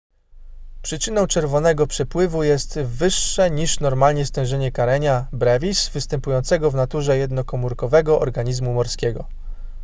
przyczyną czerwonego przypływu jest wyższe niż normalnie stężenie karenia brevis występującego w naturze jednokomórkowego organizmu morskiego